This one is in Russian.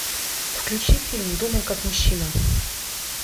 включи фильм думай как мужчина